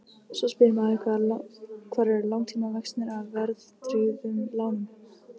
Svo spyr maður hvar eru langtímavextirnir af verðtryggðum lánum?